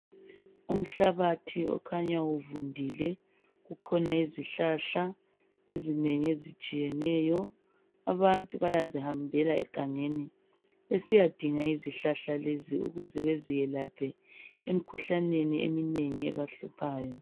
Umhlabathi okhanya uvundile kukhona izihlahla ezinengi ezitshiyeneyo . Abantu bayazihambela egangeni besiyadinga izihlahla lezi ukuze beziyelaphe emikhuhlaneni eminengi ebahluphayo.